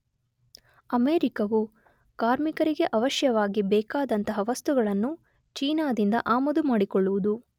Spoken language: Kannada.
ಅಮೇರಿಕವು ಕಾರ್ಮಿಕರಿಗೆ ಅವಶ್ಯವಾಗಿ ಬೇಕಾದಂತಹ ವಸ್ತುಗಳನ್ನು ಚೀನಾದಿಂದ ಆಮದುಮಾಡಿಕೊಳ್ಳುವುದು.